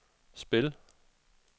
spil